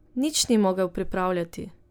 Nič ni mogel pripravljati.